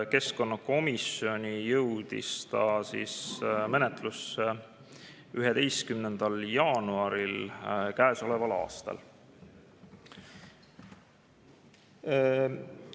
Keskkonnakomisjoni menetlusse jõudis ta 11. jaanuaril käesoleval aastal.